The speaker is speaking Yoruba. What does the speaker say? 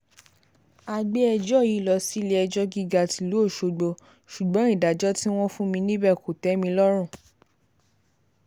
a gbé ẹjọ́ yìí lọ sílé-ẹjọ́ gíga tìlú ọ̀ṣọ́gbó ṣùgbọ́n ìdájọ́ tí wọ́n fún mi níbẹ̀ kò tẹ́ mi lọ́rùn